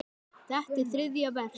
Þetta er þriðja vers.